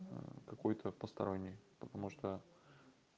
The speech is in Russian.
какой-то посторонний потому что